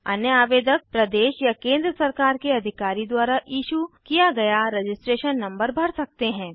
अन्य आवेदक प्रदेश या केंद्र सरकार के अधिकारी द्वारा इशू किया गया रजिस्ट्रेशन नंबर भर सकते हैं